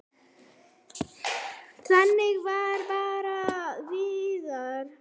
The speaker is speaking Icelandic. Þannig var bara Viðar.